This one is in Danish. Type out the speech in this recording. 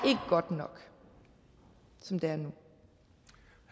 godt nok som det